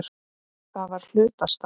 Það var hlutastarf.